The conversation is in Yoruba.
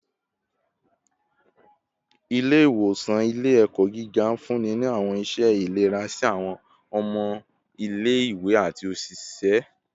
Ile-iwosan ile-ẹkọ giga nfunni ni awọn iṣẹ ilera si awọn ọmọ ile-iwe ati oṣiṣẹ